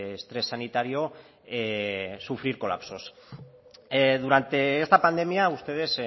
estrés sanitario sufrir colapsos durante esta pandemia ustedes